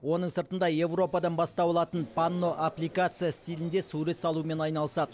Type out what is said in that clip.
оның сыртында еуропадан бастау алатын панно аппликация стилінде сурет салумен айналысады